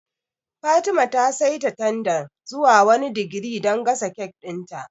Fatima ta seta tandan zuwa wani digiri dan gasa kek ɗin ta